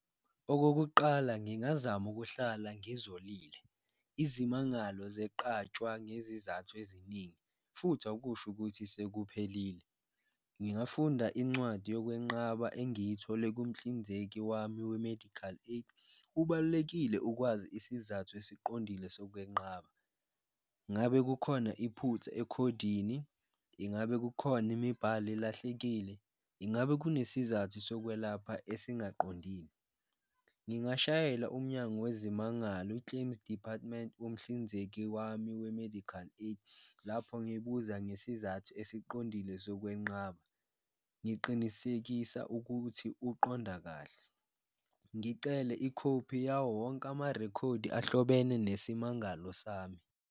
Okokuqala ngingazama ukuhlala ngizolile izimangalo zeqatshwa ngezizathu eziningi futhi akusho ukuthi sekuphelile, ngingafunda incwadi yokwenqaba engiyithole kumhlinzeki wami we-medical aid, kubalulekile ukwazi isizathu esiqondile sokwenqaba. Ngabe kukhona iphutha ekhodini? Ingabe kukhona imibhalo elahlekile? Ingabe kunesizathu sokwelapha esingaqondile? Ngingashayela umnyango wezimangalo i-claims department womhlinzeki wami we-medical aid lapho ngibuza ngesizathu esiqondile sokwenqaba, ngiqinisekisa ukuthi uqonda kahle. Ngicele ikhophi yawo wonke amarekhodi ahlobene nesimangalo sami.